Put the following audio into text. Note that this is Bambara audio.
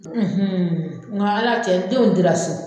nka ala cɛ denw dira so